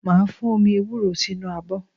Màá fún omi ewúro sínú abọ́